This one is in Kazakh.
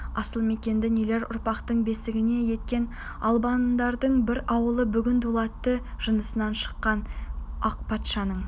асыл мекенді нелер ұрпақтың бесігі еткен албандардың бір ауылы бүгін дулаттың жанысынан шыққан ақ патшаның